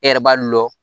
E yɛrɛ b'a lɔ